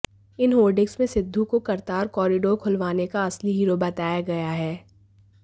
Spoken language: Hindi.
इन होर्डिंग में सिद्धू को करतार कॉरिडोर खुलवाने का असली हीरो बताया गया है